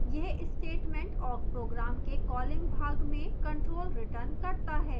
यह statement awk program के calling भाग में control returns करता है